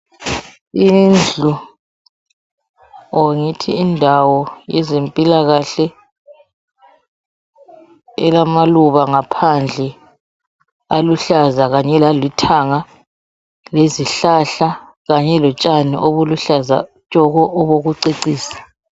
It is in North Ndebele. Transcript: Indlu or ngithi indawo, yezempilakahle elamaluba ngaphandle, aluhlaza kanye lalithanga. Lezihlahla, kanye lotshani, obuluhlaza. Obokucecisa.